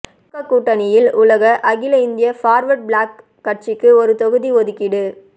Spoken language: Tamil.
திமுக கூட்டணியில் உள்ள அகில இந்திய பார்வர்டு பிளாக் கட்சிக்கு ஒரு தொகுதி ஒதுக்கீடு